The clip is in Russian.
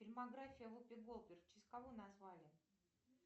фильмография вупи голдберг в честь кого назвали